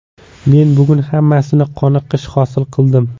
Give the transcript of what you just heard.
Men bugun hammasidan qoniqish hosil qildim”.